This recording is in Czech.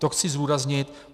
To chci zdůraznit.